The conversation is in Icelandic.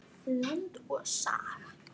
Land og Saga.